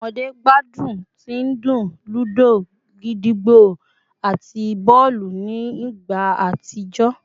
Awọn ọmọde gbadun ti ndun ludo, gídígbò, ati bọọlu ni igba atijọ